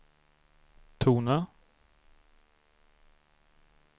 tona